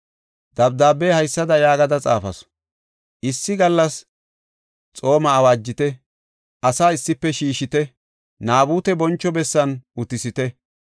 Dabdaabe haysada yaagada xaafasu; “Issi gallas xooma awaajite; asaa issife shiishite; Naabute boncho bessan utisite.